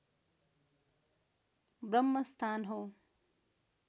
ब्रम्हस्थान हो